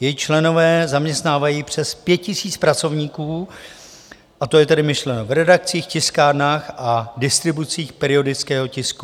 Její členové zaměstnávají přes 5 000 pracovníků, to je tedy myšleno v redakcích, tiskárnách a distribucích periodického tisku.